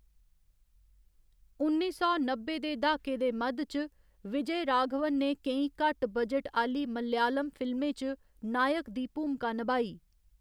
उन्नी सौ नब्बै दे दहाके दे मद्ध च विजयराघवन ने केईं घट्ट बजट आह्‌ली मलयालम फिल्में च नायक दी भूमका नभाई।